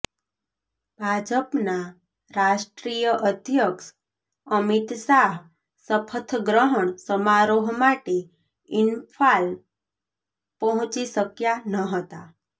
ભાજપના રાષ્ટ્રીય અધ્યક્ષ અમિત શાહ શપથગ્રહણ સમારોહ માટે ઈમ્ફાલ પહોંચી શક્યા નહતાં